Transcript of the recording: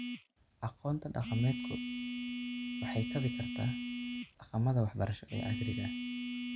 Aqoonta dhaqameedku waxay kaabi kartaa dhaqamada waxbarasho ee casriga ah.